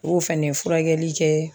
O y'o fɛnɛ furakɛli kɛ